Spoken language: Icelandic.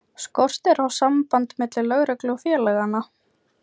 Skortir á samband milli lögreglu og félaganna?